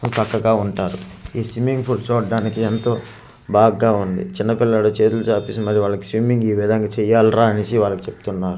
చక్కగా ఉంటారు ఈ స్విమ్మింగ్ పూల్ చూడటానికి ఏంతో బాగుగా ఉంది చిన్న పిల్లోడు చేతులు చాపేసి మరి స్విమ్మింగ్ ఈ విధంగా చేయాలి రా అని చెప్తున్నారు .]